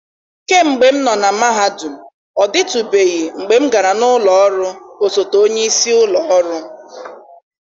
kemgbe m nọ na mahadum, ọ dịtụbeghị mgbe m gara n'ụlọ ọrụ osote onyeisi ụlọ ọrụ.